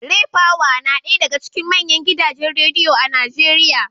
Raypower na daya daga cikin manyan gidajen Rediyo a Najeriya